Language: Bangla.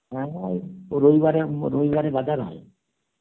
হ্যাঁ হয়, ও রবিবারে ম~ রবিবারে বাজার হয়